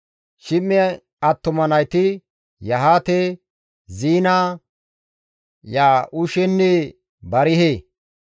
Shim7e attuma nayti, Yahaate, Ziina, Ya7uushenne Barihe.